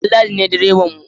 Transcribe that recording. Danladi ne direban mu